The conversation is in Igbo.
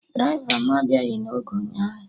Draịva mụ abịaghị na oge ụnyaahụ